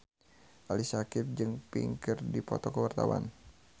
Ali Syakieb jeung Pink keur dipoto ku wartawan